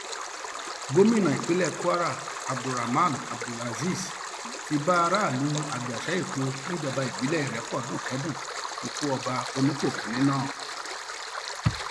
gomina ìpínlẹ kwara abdulrahman abdulrazib ti bá aráàlú àjàṣeipò níjọba ìbílẹ ìrépọdùn kẹdùn ikú ọba onípò kìnínní náà